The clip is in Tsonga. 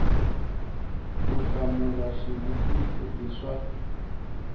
ku hlamula xivutiso i swa